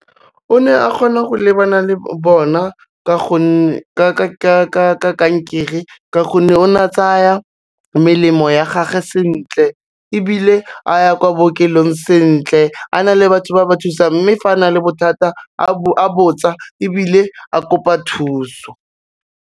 O ne a kgona go lebana le bona ka gonne ka kankere ka gonne o na tsaya melemo ya gage sentle, ebile a ya kwa bookelong sentle, a na le batho ba ba thusang mme fa a na le bothata a botsa ebile a kopa thuso.